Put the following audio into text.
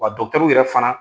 Wa dɔgɔtɛru yɛrɛ fana